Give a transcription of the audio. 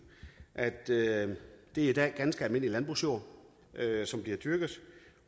at det i dag er ganske almindelig landbrugsjord som bliver dyrket